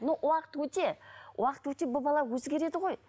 но уақыт өте уақыт өте бұл бала өзгереді ғой